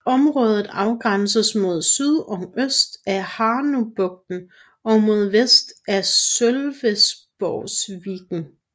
Området afgrænses mod syd og øst af Hanöbukten og mod vest af Sölvesborgsviken